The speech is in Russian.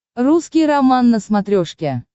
русский роман на смотрешке